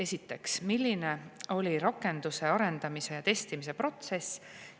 Esiteks: "Milline oli rakenduse arendamise ja testimise protsess?